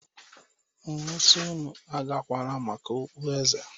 M wee sị unu agakwala maka okpueze!